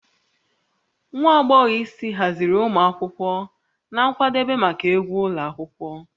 Nwa agbọghọ isi haziri ụmụ akwụkwọ na nkwadebe maka egwu ụlọ akwụkwọ